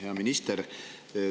Hea minister!